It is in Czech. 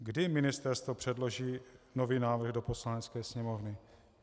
Kdy ministerstvo předloží nový návrh do Poslanecké sněmovny?